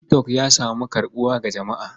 Tik tok ya samu karɓuwa ga jama'a.